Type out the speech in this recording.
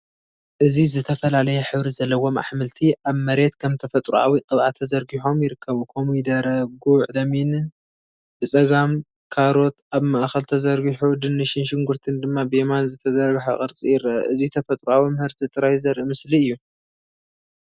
እዚ ዝተፈላለየ ሕብሪ ዘለዎም ኣሕምልቲ ኣብ መሬት ከም ተፈጥሮኣዊ ቅብኣ ተዘርጊሖም ይርከቡ። ኮሚደረ፡ ጉዕ፣ ለሚንን ብጸጋም፡ ካሮት ኣብ ማእከል ተዘርጊሑ፡ ድንሽን ሽጉርትን ድማ ብየማን ዝተዘርግሐ ቅርጺ ይረአ። እዚ ተፈጥሮኣዊ ምህርቲ ጥራይ ዘርኢ ምስሊ እዩ።